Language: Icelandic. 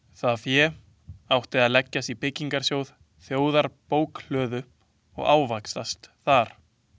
Það fé átti að leggjast í byggingarsjóð þjóðarbókhlöðu og ávaxtast þar.